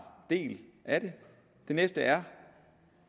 del af det det næste er